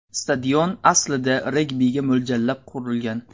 Stadion aslida regbiga mo‘ljallab qurilgan.